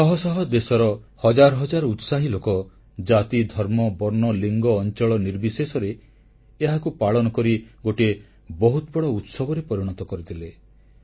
ଶହ ଶହ ଦେଶର ହଜାର ହଜାର ଉତ୍ସାହୀ ଲୋକ ଜାତି ଧର୍ମ ବର୍ଣ୍ଣ ଲିଙ୍ଗ ଅଂଚଳ ନିର୍ବିଶେଷରେ ଏହାକୁ ପାଳନ କରି ଗୋଟିଏ ବହୁତ ବଡ଼ ଉତ୍ସବରେ ପରିଣତ କରିଦେଲେ